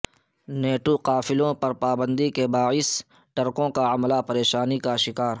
NATO قافلوں پر پابندی کے باعث ٹرکوں کا عملہ پریشانی کا شکار